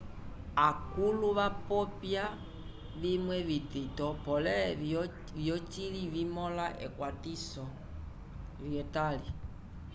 akũlu vapopya vimwe vitito pole vyocili vimõlisa ekwatiwo lyetali